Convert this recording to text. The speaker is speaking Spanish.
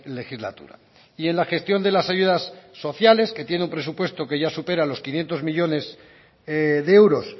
legislatura y en la gestión de las ayudas sociales que tiene un presupuesto que ya supera los quinientos millónes de euros